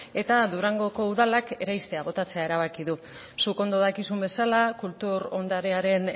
eta durangoko udalak eraistea botatzea erabaki du zuk ondo dakizun bezala kultur ondarearen